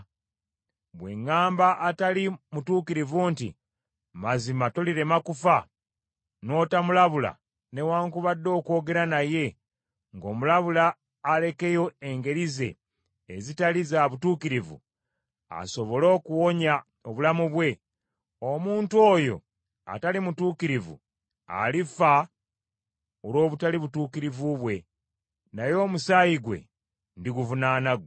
Bwe ŋŋamba atali mutuukirivu nti, ‘Mazima tolirema kufa,’ n’otamulabula newaakubadde okwogera naye ng’omulabula alekeyo engeri ze ezitali za butuukirivu asobole okuwonya obulamu bwe, omuntu oyo atali mutuukirivu alifa olw’obutali butuukirivu bwe, naye omusaayi gwe ndiguvunaana ggwe.